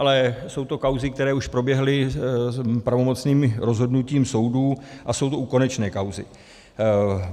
Ale jsou to kauzy, které už proběhly pravomocným rozhodnutím soudů, a jsou to konečné kauzy.